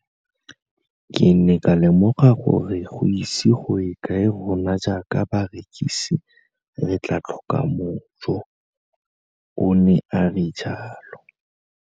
Ke ne ka lemoga gore go ise go ye kae rona jaaka barekise re tla tlhoka mojo, o ne a re jalo.